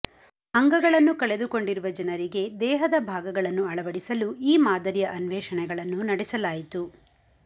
ಅಂಗಗಳನ್ನು ಕಳೆದುಕೊಂಡಿರುವ ಜನರಿಗೆ ದೇಹದ ಭಾಗಗಳನ್ನು ಅಳವಡಿಸಲು ಈ ಮಾದರಿಯ ಅನ್ವೇಷಣೆಗಳನ್ನು ನಡೆಸಲಾಯಿತು